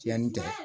Tiyanni tɛ dɛ